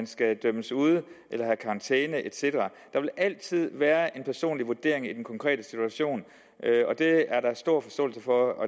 skal dømmes ude have karantæne et cetera der vil altid være en personlig vurdering i den konkrete situation og det er der stor forståelse for og